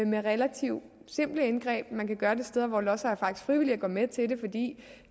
med relativt simple indgreb man kan gøre det steder hvor lodsejere faktisk frivilligt er gået med til det fordi